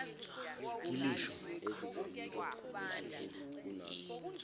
gilisho